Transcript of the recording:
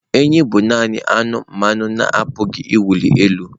Enyí bụ nanị anụmanụ na-apụghị ịwụli elu.